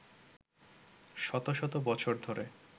শত শত বছর ধরে